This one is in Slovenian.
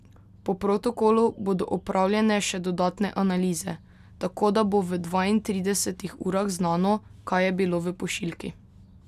Po protokolu bodo opravljene še dodatne analize, tako da bo v dvaintridesetih urah znano, kaj je bilo v pošiljki.